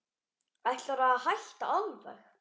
Ætlarðu að hætta alveg.